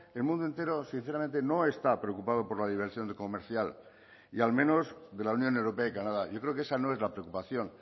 el mundo entero sinceramente no está preocupado por la diversión de comercial y al menos de la unión europea y canadá yo creo que esa no es la preocupación